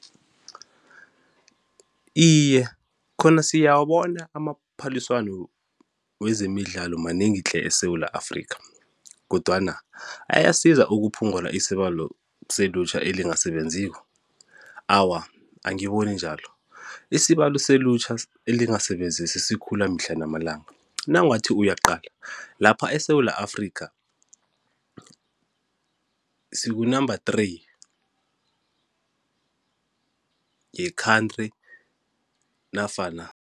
Iye, khona siyawabona amaphaliswano wezemidlalo manengi tle eSewula Afrikha, kodwana ayasiza ukuphungula isibalo selutjha elingasebenziko? Awa, angiboni njalo, isibalo selutjha elingasebenziko sikhula mihle namalanga, nawungathi uyaqala lapha eSewula Afrikha siku-number three ye-country nofana